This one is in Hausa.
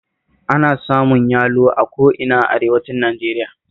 Ana samun yalo a ko ina a arewacin Najeriya